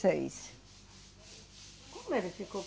seis. Como ele ficou?